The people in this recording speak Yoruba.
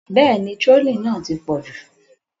Bẹ́ẹ̀ni, trolling náà ti pọ̀ jù.